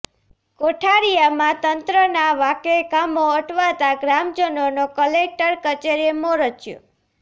કોઠારીયામાં તંત્રના વાંકે કામો અટવાતા ગ્રામજનોનો કલેકટર કચેરીએ મોરચો